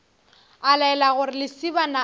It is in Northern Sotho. a laela gore lesibana a